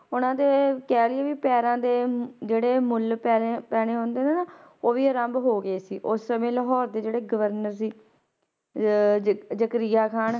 ਉਹਨਾਂ ਦੇ ਕਹਿ ਲਈਏ ਵੀ ਪੈਰਾਂ ਦੇ ਜਿਹੜੇ ਮੁੱਲ ਪੈਣੇ ਪੈਣੇ ਹੁੰਦੇ ਨੇ ਨਾ, ਉਹ ਵੀ ਆਰੰਭ ਹੋ ਗਏ ਸੀ, ਉਸ ਸਮੇਂ ਲਾਹੌਰ ਦੇ ਜਿਹੜੇ ਗਵਰਨਰ ਸੀ ਅਹ ਜਕ~ ਜ਼ਕਰੀਆ ਖ਼ਾਨ